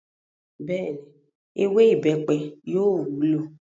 Bẹ́ẹ̀ni, “ewé ìbẹ́pẹ” yóò wúlò.